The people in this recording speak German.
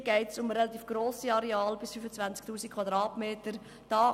Hier geht es um relativ grosse Areale bis zu 25 000 Quadratmetern.